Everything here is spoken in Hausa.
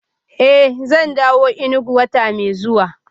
Eh zan dawo Enugu wata mai zuwa